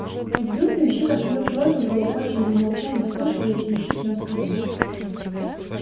и вдруг ямщик осадил тройку колокольчик замолчал и вслушиваясь ямщик нам сказал